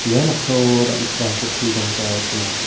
ia noksao dal·gipa pokkri damsa gnang.